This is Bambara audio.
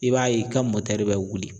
I b'a ye i ka mɔtri bɛ wuli